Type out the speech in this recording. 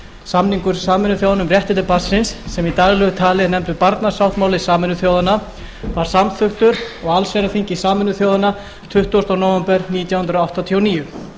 samningur sameinuðu þjóðanna um réttindi barnsins sem í daglegu tali er nefndur barnasáttmáli sameinuðu þjóðanna var samþykktur á allsherjarþingi sameinuðu þjóðanna tuttugasta nóvember nítján hundruð áttatíu og níu